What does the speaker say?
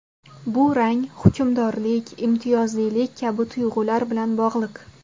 Bu rang hukmdorlik, imtiyozlilik kabi tuyg‘ular bilan bog‘liq.